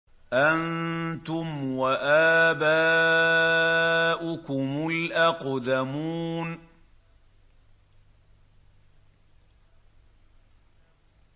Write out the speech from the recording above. أَنتُمْ وَآبَاؤُكُمُ الْأَقْدَمُونَ